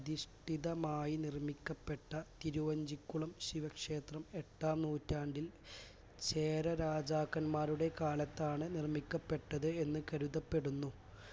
അധിഷ്ഠിതമായി നിർമ്മിക്കപ്പെട്ട തിരുവഞ്ചിക്കുളം ശിവക്ഷേത്രം എട്ടാം നൂറ്റാണ്ടിൽ ചേര രാജക്കൻമാരുടെ കാലത്താണ് നിർമ്മിക്കപ്പെട്ടത് എന്ന് കരുതപ്പെടുന്നു